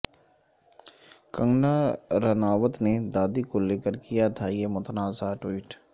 کنگنا رانوت نے دادی کو لے کر کیا تھا یہ متنازعہ ٹوئٹ